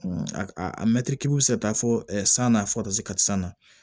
Mɛtiri bɛ se ka taa fɔ san na fɔ san na